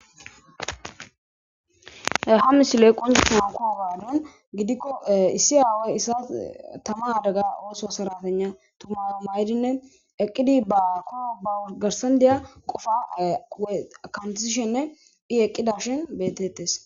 Ha misiley qonicisanawu koyo gaadan gidikko issi aawoy issa tama adaga ooso saratana tuma maydinne eqqidi ba koro ba garsan deya qofa akantiishenne hi eqqida shin betettes.